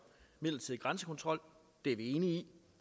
midlertidig grænsekontrol det er vi enige i